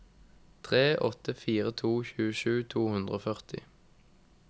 tre åtte fire to tjuesju to hundre og førti